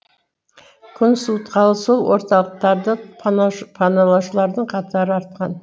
күн суытқалы сол орталықтарды паналаушылардың қатары артқан